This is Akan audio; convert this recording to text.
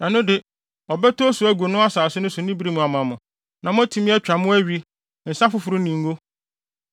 ɛno de, ɔbɛtɔ osu agu no asase so ne bere mu ama mo, na moatumi atwa mo awi, nsa foforo ne ngo.